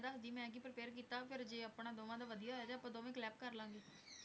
ਮੈਂ ਕਿ prepare ਕੀਤਾ ਫੇਰ ਜੇ ਆਪਾਂ ਦੋਨਾਂ ਦਾ ਵਧੀਆ ਹੋਇਆ ਤਾਂ ਆਪਾਂ collab ਕਰ ਲਾਂਗੇ